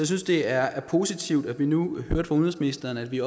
synes det er positivt at vi nu hører fra udenrigsministeren at vi